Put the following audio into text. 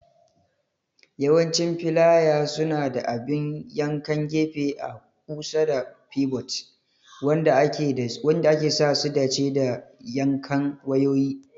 Yawancin filaya suna da abin yankan gefe a kusa da pivot, wanda ke sa su dace da yankan wayoyi.